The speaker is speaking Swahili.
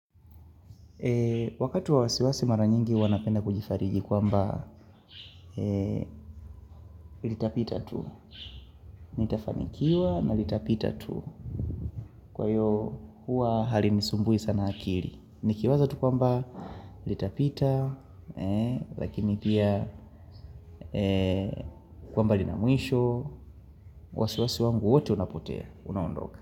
Wakati wa wasiwasi mara nyingi huwa napenda kujifariji kwamba litapita tu, nitafanikiwa na litapita tu, kwa hiyo huwa halinisumbui sana akili, nikiwaza tu kwamba litapita, lakini pia kwamba linamwisho, wasiwasi wangu wote unapotea, unaondoka.